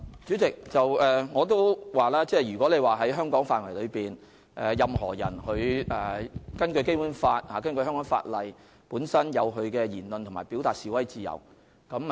主席，正如我剛才所說，在香港範圍內，根據《基本法》和香港法例，任何人均享有言論自由和表達、示威自由。